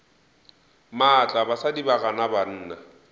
maatla basadi ba gana banna